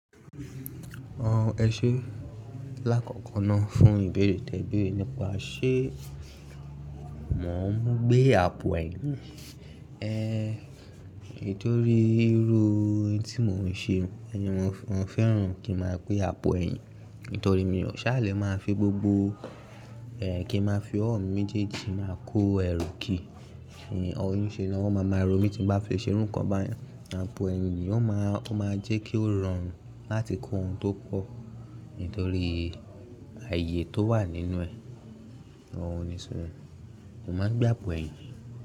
Àwọn ẹṣẹ lákọ̀ọ̀kan náà fún ìbéèrè tẹ ìbéèrè nípa ṣé mo ń gbé àpò ẹ̀yìn. Nítorí irú etí mò ń ṣe, mo fẹ́ràn kí máa gbé àpò ẹ̀yìn. Nítorí mí ò ṣáàlẹ́ máa fi gbogbo kí máa fi ọ̀wọ́ mi méjèèjì máa kó ẹrú ki. Niṣe náà wọ́n máa máa ro mí tí bá fi ṣe irú ǹkan báyìí. Àpò ẹ̀yìn ni yóò máa, ó máa jẹ́ kí ó rọrùn láti kó ohun tó pọ̀ nítorí ààyè tó wà nínú ẹ̀, òun ni sọ, mo máa ń gbé àpò ẹ̀yìn.